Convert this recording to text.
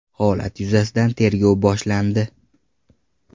Holat yuzasidan tergov boshlandi.